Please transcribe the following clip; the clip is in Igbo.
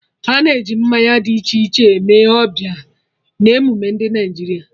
Ana e ji mmanya dị iche iche eme ọbịa na emume ndị Naịjirịa